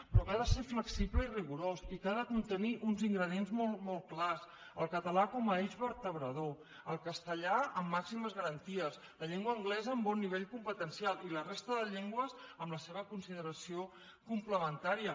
però que ha de ser flexible i rigorós i que ha de contenir uns ingredients molt clars el català com a eix vertebrador el castellà amb màximes garanties la llengua anglesa amb bon nivell competencial i la resta de llengües amb la seva consideració complementària